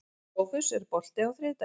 Sófus, er bolti á þriðjudaginn?